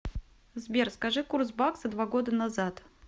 сбер скажи курс бакса два года назад